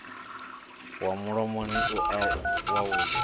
wa mulomoni u si wavhuḓi